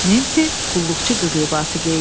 Nensi qulluqçu qız libası geydi.